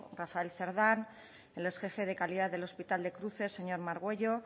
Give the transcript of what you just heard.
rafael cerdán el exjefe de calidad del hospital de cruces señor margüello